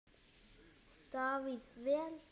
Davíð: Vel.